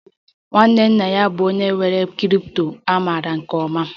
Nwanne nna ya bụ onye nwe crypto a maara nke ọma